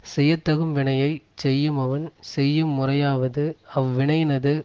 செய்ய தகும் வினையை செய்யுமவன் செய்யும் முறையாவது அவ்வினையினது